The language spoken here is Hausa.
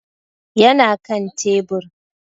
Yana kan tebur